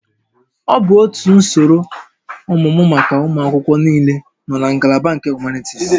Ọ bụ otu usoro ọmụmụ maka ụmụ akwụkwọ niile nọ na ngalaba nke Humanities